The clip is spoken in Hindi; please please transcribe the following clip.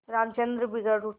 रामचंद्र बिगड़ उठा